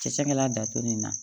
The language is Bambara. Cɛkɛlan datugu nin na